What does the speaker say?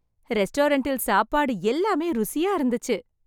ரெஸ்டாரண்டில் சாப்பாடு எல்லாமே ருசியா இருந்துச்சு.